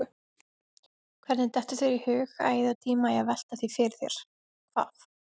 Svo hurfu þeir og krakkarnir heyrðu sönglið í þeim inni í fjósi.